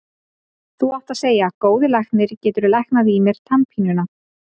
Þú átt að segja: Góði læknir, geturðu læknað í mér tannpínuna.